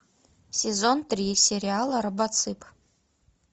сезон три сериала робоцып